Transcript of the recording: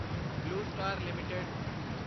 blue Star LTD